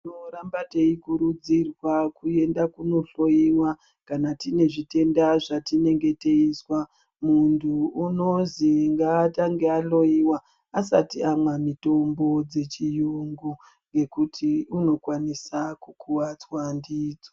Tinoramba teikurudzirwa kuenda kunohloyiwa kana tine zvitenda zvatinenge teizwa muntu unozwi ngaatange ahloyiwa asati amwa mitombo dzechiyungu nekuti unokwanisa kukuwadzwa ndidzo.